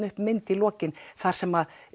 upp mynd í lokin þar sem